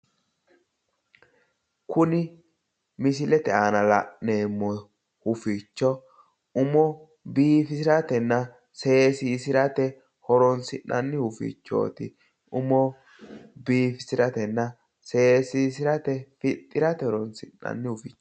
Kuni misilete aana la'neemmo huficho umo biifisiratenna seesiisirate horoonsi'nanni hufichooti. Umo biifisiratenna seesiisirate fixxirate horoonsi'nanni hufichooti.